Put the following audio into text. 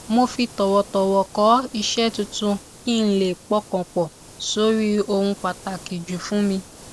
mo fi tọwọtọwọ kọ iṣẹ tuntun kí n lè pọkàn pọ sórí ohun pàtàkì jù fún mi